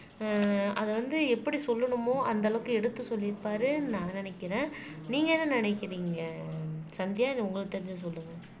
ஆஹ் அதை வந்து எப்படி சொல்லணுமோ அந்த அளவுக்கு எடுத்து சொல்லிருப்பாருன்னு நான் நினைக்கிறேன் நீங்க என்ன நினைக்கிறீங்க சந்தியா இது உங்களுக்கு தெரிஞ்சதை சொல்லுங்க